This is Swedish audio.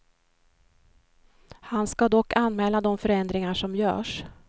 Han ska dock anmäla de förändringar som görs.